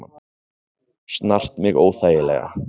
Snart mig óþægilega.